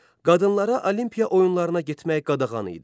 Qadınlara Olimpiya oyunlarına getmək qadağan idi.